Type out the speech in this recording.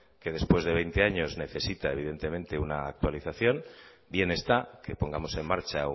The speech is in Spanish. que después de veinte años necesita evidentemente una actualización bien está que pongamos en marcha